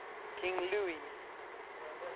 king louis